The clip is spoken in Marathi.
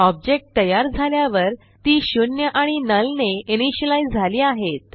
ऑब्जेक्ट तयार झाल्यावर ती 0 आणि नुल ने इनिशियलाईज झाली आहेत